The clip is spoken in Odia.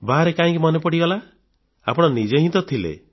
ବାହାରେ କାହିଁକି ମନେ ପଡ଼ିଗଲା ଆପଣ ନିଜେ ହିଁ ତ ଥିଲେ